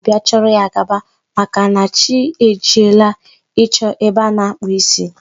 Aga m abịa chọrọ ya gaba, maka na chi e jiela ịchọ ebe a na-akpụ isi.